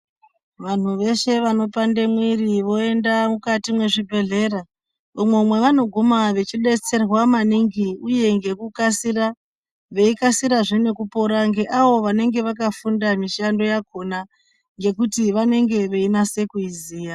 Vanhu veshe vanopande mwiri voenda mukati mwezvibhedhlera umwo mwevanoguma vechibetserwa maningi uye ngekukasira veikasirazve nekupora ngeavo vanenge vakafunda mishando yakona yekuti vanenge veinyase kuiziya